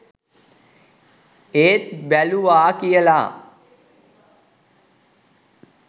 ඒත් බැලුවා කියලා